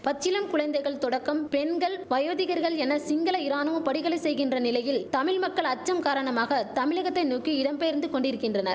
பச்சிளம் குழந்தைகள் தொடக்கம் பெண்கள் வயோதிகர்கள் என சிங்கள இராணுவம் படிகலை செய்கின்ற நிலையில் தமிழ் மக்கள் அச்சம் காரணமாக தமிழகத்தை நோக்கி இடம்பெயர்ந்து கொண்டிரிக்கின்றன